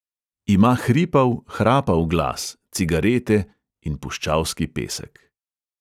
Ima hripav, hrapav glas, cigarete in puščavski pesek.